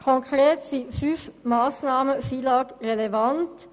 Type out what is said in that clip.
Konkret sind fünf Massnahmen FILAG-relevant.